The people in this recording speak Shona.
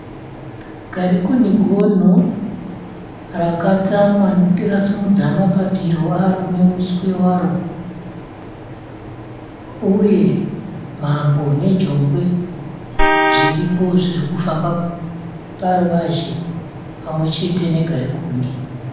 Ngarikuni gonho ,rakatsamwa nokuti rasimudza mapariro aro nemuswe waro uye mhambo nejongwe zviripo zviri kufamba paruvazhe pamwechete negarikuni.